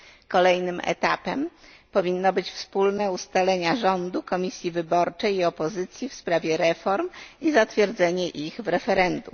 Kolejnym etapem powinny być wspólne ustalenia rządu, komisji wyborczej i opozycji w sprawie reform i zatwierdzenie ich w referendum.